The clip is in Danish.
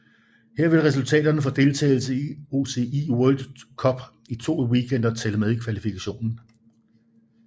Her vil resultaterne for deltagelsen i UCI World Cup i to weekender tælle med i kvalifikationen